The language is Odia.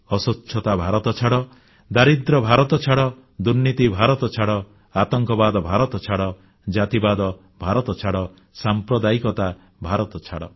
ଅସ୍ୱଚ୍ଛତାଭାରତଛାଡ଼ ଦାରିଦ୍ର୍ୟଭାରତଛାଡ଼ ଦୁର୍ନୀତିଭାରତଛାଡ଼ ଆତଙ୍କବାଦଭାରତଛାଡ଼ ଜାତିବାଦଭାରତଛାଡ଼ ସାମ୍ପ୍ରଦାୟିକତାଭାରତଛାଡ଼